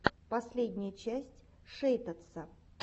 последняя часть шейтадса